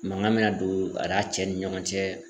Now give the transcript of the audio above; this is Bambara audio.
Mangan be na don an'a cɛ ni ɲɔgɔn cɛ